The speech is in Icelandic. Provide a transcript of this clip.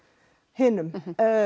hinum